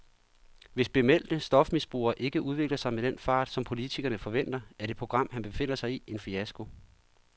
Hvis bemeldte stofmisbrugere ikke udvikler sig med den fart, som politikerne forventer, er det program, han befinder sig i, en fiasko.